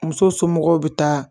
Muso somɔgɔw bi taa